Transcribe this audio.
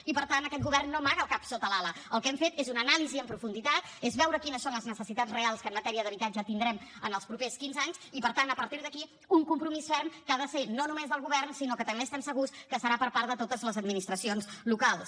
i per tant aquest govern no amaga el cap sota l’ala el que hem fet és una anàlisi en profunditat és veure quines són les necessitats reals que en matèria d’habitatge tindrem en els propers quinze anys i per tant a partir d’aquí un compromís ferm que ha de ser no només del govern sinó que també estem segurs que serà per part de totes les administracions locals